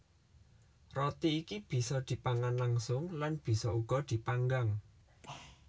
Roti iki bisa dipangan langsung lan bisa uga dipanggang